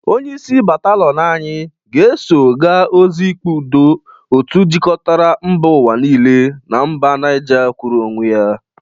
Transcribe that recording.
Onyeisi bataliọn anyị ga-eso ga ozi ikpe udo otu jikọtara mba ụwa niile na mba Nije kwụrụ onwe ya.